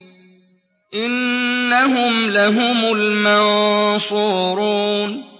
إِنَّهُمْ لَهُمُ الْمَنصُورُونَ